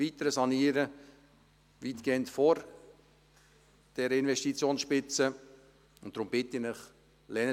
Der «Höfu» kann weitgehend vor dieser Investitionsspitze saniert und erweitert werden, und deswegen bitte ich Sie: